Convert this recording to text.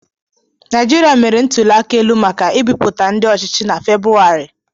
Naijiriia mere ntuli aka elu maka ibipụta ndị ọchịchị na Febrụwarị.